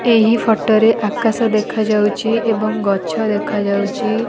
ଏହି ଫଟୋ ରେ ଆକାଶ ଦେଖାଯାଉଚି ଏବଂ ଗଛ ଦେଖାଯାଉଚି ।